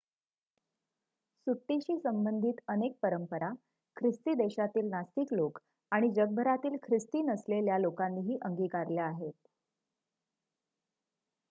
सुट्टीशी संबंधित अनेक परंपरा ख्रिस्ती देशांतील नास्तिक लोक आणि जगभरातील ख्रिस्ती नसलेल्या लोकांनीही अंगीकारल्या आहेत